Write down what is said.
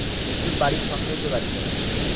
বিট্টুর বাড়ির সঙ্গেই যেই বাড়িটা,